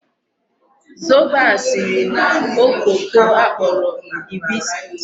Zobo a siri na okooko a kporo hibiscus.